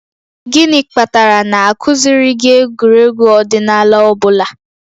Gịnị kpatara na a kụziiri gị egwuregwu ọdịnala ọ bụla?